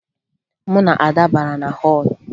Mụ na Ada bara na họọlụ